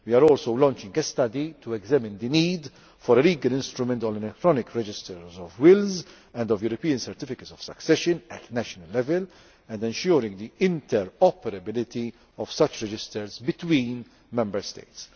We are also launching a study to examine the need for a legal instrument on electronic registers of wills and of European Certificates of Succession at national level and ensuring the interoperability of such registers between Member States.